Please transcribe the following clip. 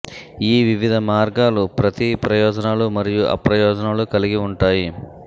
ఈ వివిధ మార్గాలు ప్రతి ప్రయోజనాలు మరియు అప్రయోజనాలు కలిగి ఉంటాయి